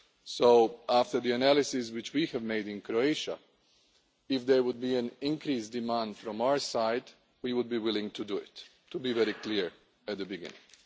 So after the analysis which we have made in Croatia if there were an increased demand from our side we would be willing to do it, to be very clear at the beginning.